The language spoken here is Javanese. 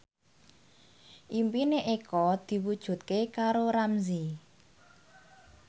impine Eko diwujudke karo Ramzy